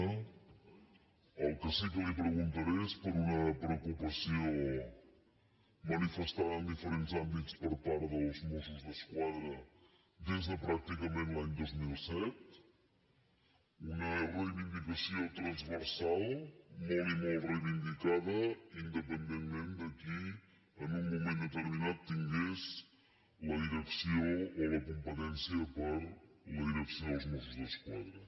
pel que sí que li preguntaré és per una preocupació manifestada en diferents àmbits per part dels mossos d’esquadra des de pràcticament l’any dos mil set una reivindicació transversal molt i molt reivindicada independentment de qui en un moment determinat tingués la direcció o la competència per a la direcció dels mossos d’esquadra